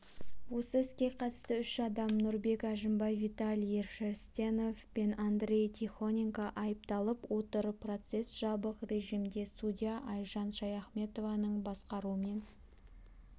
осы іске қатысты үш адам нұрбек әжімбай виталий шерстенев пен андрей тихоненко айыпталып отыр процесс жабық режимде судья айжан шаяхметованың басқаруымен